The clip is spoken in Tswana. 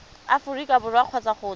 aforika borwa kgotsa go tswa